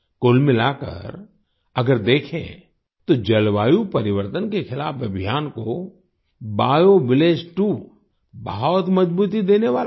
कुल मिलाकर अगर देखें तो जलवायु परिवर्तन के खिलाफ अभियान को बायोविलेज 2 बहुत मजबूती देने वाला है